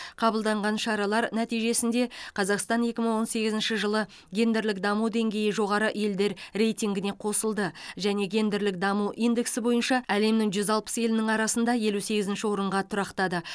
қабылданған шаралар нәтижесінде қазақстан екі мың он сегізінші жылы гендерлік даму деңгейі жоғары елдер рейтингіне қосылды және гендерлік даму индексі бойынша әлемнің жүз алпыс елінің арасында елу сегізінші орынға тұрақтады